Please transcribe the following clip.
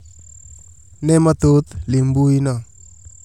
Ne mathoth lim mbui no